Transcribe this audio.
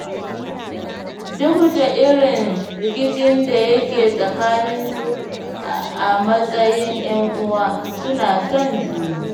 Duk da irin rikicin da yake tsaninsu a matsayin ƴan'uwa, suna son juna.